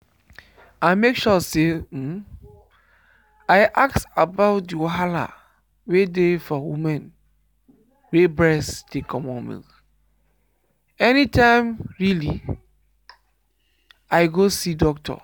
i make sure say um i ask about the wahala wey dey for women wey breast dey comot milk anytime really i go see doctor.